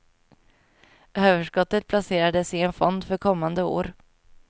Överskottet placerades i en fond för kommande år.